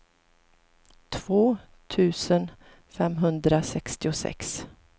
två tusen femhundrasextiosex